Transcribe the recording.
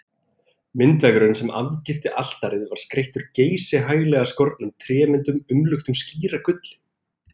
Myndveggurinn sem afgirti altarið var skreyttur geysihaglega skornum trémyndum umluktum skíragulli.